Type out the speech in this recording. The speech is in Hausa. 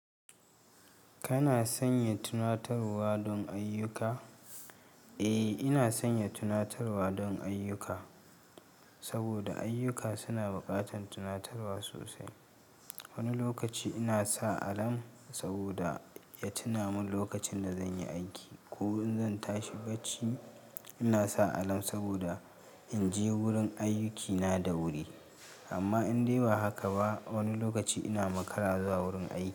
Kana sanya tunatarwa don ayyuka? Eh, ina sanya tunatarwa don ayyuka, saboda ayyuka suna buƙatar tunatarwa sosai. Wani lokaci ina sa alarm saboda ya tuna mun lokacin da zan yi aiki, ko in zan tashi bacci. Ina sa alarm saboda in je wurin ayyukina da wuri. Amma in dai ba haka ba, wani lokaci ina makara zuwa wurin aiki.